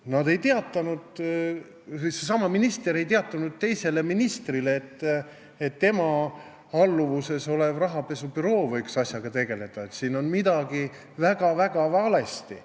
Nad ei teatanud, õieti, seesama minister ei teatanud teisele ministrile, et selle alluvuses olev rahapesu andmebüroo võiks asjaga tegeleda, sest siin on midagi väga-väga valesti.